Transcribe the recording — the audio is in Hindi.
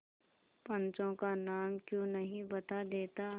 पंचों का नाम क्यों नहीं बता देता